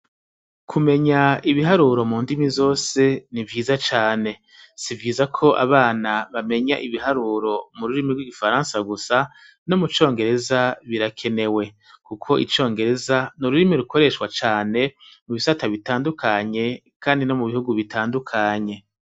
Kumenya ibiharuro mu ndimi zose ni vyiza cane. Si vyiza ko abana bamenya ibiharuro mu rurimi rw'gifaransa gusa no mu congereza birakenewe. Kuko icongereza ni ururimi rukoreshwa cane mu bisata bitandukanye kandi ni no mu bihugu bitandukanye.